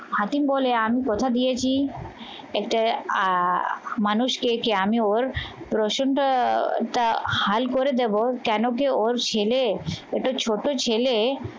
হাতিম বলে আমি কথা দিয়েছি এতে আহ মানুষ খেয়েছে আমি ওর রসুন টা হাল করে দেব কেন কি ওর ছেলে একটা ছোট ছেলে